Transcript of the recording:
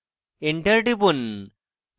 enter টিপুন